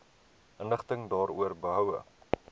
inligting daaroor behoue